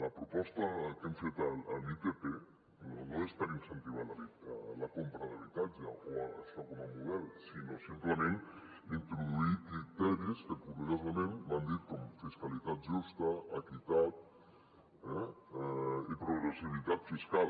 la proposta que hem fet de l’itp no és per incentivar la compra d’habitatge o això com a model sinó simplement introduir criteris que curiosament m’han dit com fiscalitat justa equitat i progressivitat fiscal